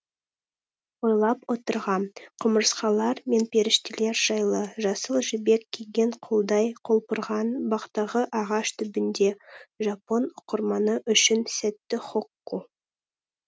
ойлап отырғам құмырсқалар мен періштелер жайлы жасыл жібек киген құлдай құлпырған бақтағы ағаш түбінде жапон оқырманы үшін сәтті хокку